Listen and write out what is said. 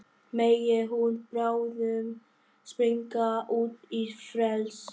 Megi hún bráðum springa út í frelsið.